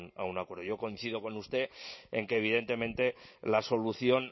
a un acuerdo yo coincido con usted en que evidentemente la solución